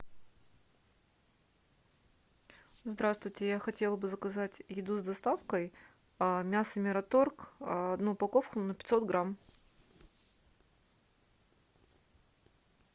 здравствуйте я хотела бы заказать еду с доставкой мясо мираторг одну упаковку на пятьсот грамм